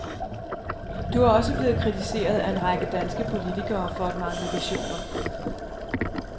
Du er også blevet kritiseret af en række danske politikere for at mangle visioner.